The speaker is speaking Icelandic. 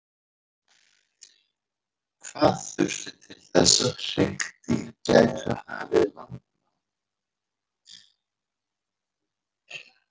hvað þurfti til þess að hryggdýr gætu hafið landnám